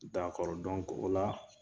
dɔnku o la